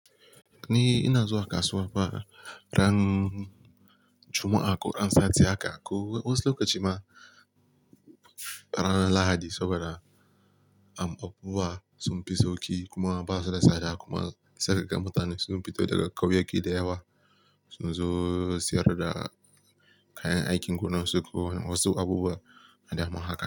Ni ina zuwa kasuwa bara ran Juma'a, ƙo an sati haka ko wasu lokaci ma ranan Lahadi saboda amfaffuwa sunfi sauƙi kuma ba su da tsada kuma sai kaga mutane sun fita daga ƙauyaki da yawa sun zo sayar da kayan aikin gonar su ko wasu abubuwan da dama haka.